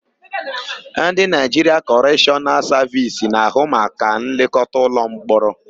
Ndị Naịjiria Kọreshọnal Savisi na-ahụ maka nlekọta ụlọmkpọrọ.